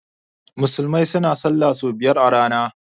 Musulmai suna sallah sau biyar a rana